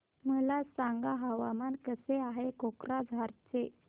मला सांगा हवामान कसे आहे कोक्राझार चे